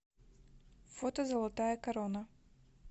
фото золотая корона